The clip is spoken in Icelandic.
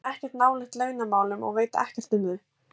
Ég kem ekkert nálægt launamálum og veit ekkert um þau.